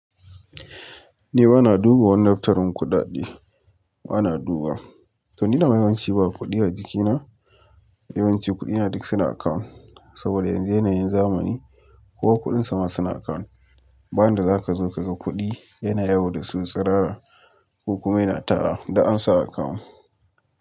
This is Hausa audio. Ni bana duba wannan tarin kuɗaɗe, bana duba. To ni na yi yawanci ba kuɗi a jikina, yawanci kuɗi na duk suna account saboda yanzu yanayin zamani kowa kuɗinsa ma suna account. Ba da za ka zo ka ga kuɗi yana yawo da su sarara ko kuma yana tara, duk ansa a account.